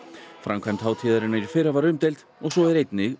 framkvæmd hátíðarinnar í fyrra var umdeild og svo er einnig